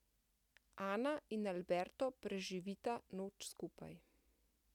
Ana in Alberto preživita noč skupaj.